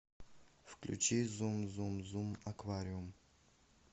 включи зум зум зум аквариум